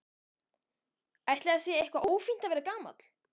Ætli það sé eitthvað ófínt að vera gamall?